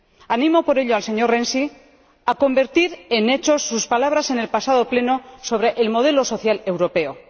Animo, por ello, al señor Renzi a convertir en hechos sus palabras en el pasado Pleno sobre el modelo social europeo.